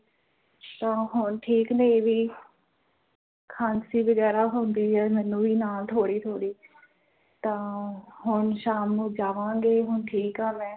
ਤਾ ਹੁਣ ਠੀਕ ਨੇ ਏਹ ਵੀ ਖਾਂਸੀ ਵਗੈਰਾ ਹੁੰਦੀ ਹੈ ਮੈਂਨੂੰ ਵੀ ਨਾਲ਼ ਥੋੜੀ ਥੋੜੀ ਤਾ ਹੁਣ ਸ਼ਾਮ ਨੂੰ ਜਾਵਾਂਗੇ ਹੁਣ ਠੀਕ ਹਾਂ ਮੈਂ